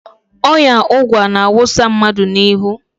Ọya ụgwa na-awụsa mmadụ n"ahụ.